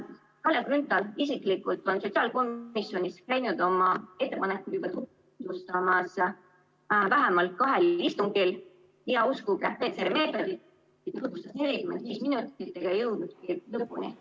Kalle Grünthal isiklikult on sotsiaalkomisjonis käinud oma ettepanekuid tutvustamas juba vähemalt kahel istungil ja uskuge, PCR‑meetodit ta tutvustas 45 minutit ega jõudnudki lõpuni.